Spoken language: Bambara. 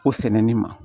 O sɛnɛni ma